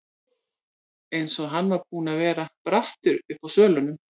Eins og hann var búinn að vera brattur uppi á svölunum.